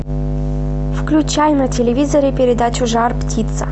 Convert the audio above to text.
включай на телевизоре передачу жар птица